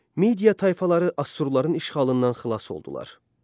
Media tayfaları assurların işğalından xilas oldular.